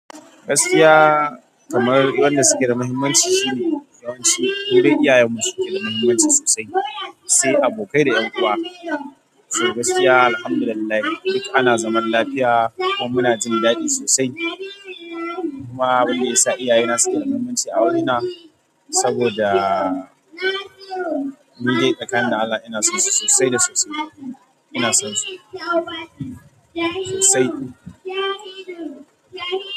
Gaskiya kamar wanda suke da muhimmanci shine yawanci ko dai iyayen mu suke da muhimmanci sosai, sai abokai da 'yan uwa. To gaskiya alhamdulillah duk ana zaman lafiya kuma muna jin daɗi sosai. Kuma abun ya sa iyaye na suke da muhimmanci a wurina saboda ni dai tsakani da Allah ina san su sosai da sosai. Ina son su sosai.